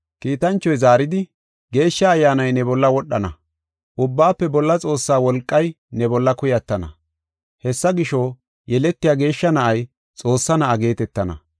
Kiitanchoy zaaridi, “Geeshsha Ayyaanay ne bolla wodhana, Ubbaafe Bolla Xoossaa wolqay ne bolla kuyatana. Hessa gisho, yeletiya geeshsha na7ay Xoossaa Na7aa geetetana.